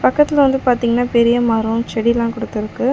பக்கத்துல வந்து பாத்தீங்ன்னா பெரிய மரோ செடிலா குடுத்துருக்கு.